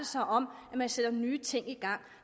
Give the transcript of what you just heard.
sig om at man sætter nye ting i gang